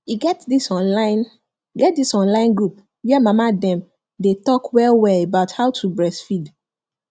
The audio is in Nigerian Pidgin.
e get this online get this online group where mama dem day talk well well about how to breastfeed